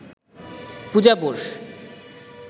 Puja Bose